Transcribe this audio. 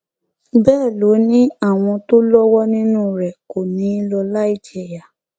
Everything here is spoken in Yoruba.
bẹẹ ló ní àwọn tó lọwọ nínú rẹ kò ní í lọ láì jìyà